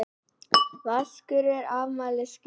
Vaskur var afmælisgjöf.